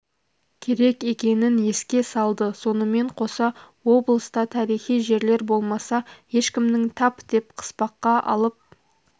керек екенін еске салды сонымен қоса облыста тарихи жерлер болмаса ешкімнің тап деп қыспаққа алып